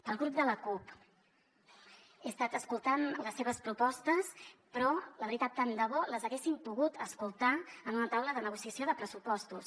per al grup de la cup he estat escoltant les seves propostes però la veritat tant de bo les haguéssim pogut escoltar en una taula de negociació de pressupostos